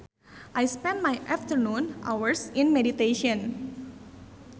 I spent my afternoon hours in meditation